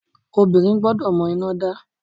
Obìnrin gbọ́dọ̀ mọ iná dá.